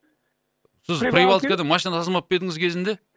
сіз прибалтикадан машина тасымап па едіңіз кезінде